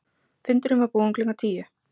Fundurinn var búinn klukkan tíu.